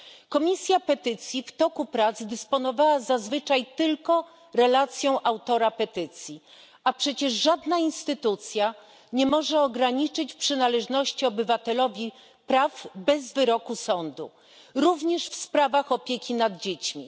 Komisja Petycji w toku prac dysponowała zazwyczaj tylko relacją autora petycji, a przecież żadna instytucja nie może ograniczyć przynależnych obywatelowi praw bez wyroku sądu, również w sprawach opieki nad dziećmi.